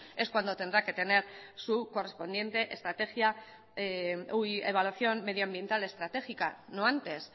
es cuando tendrá que tener su correspondiente estrategia evaluación medioambiental estratégica no antes